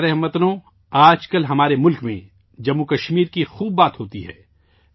میرے پیارے ہم وطنو، آج کل ہمارے ملک میں جموں و کشمیر کا بہت ذکر ہوتا ہے